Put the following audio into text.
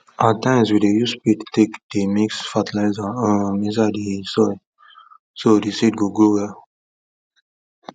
at times we dey use spade take dey mix fertilizer um inside the soil so the seed go grow well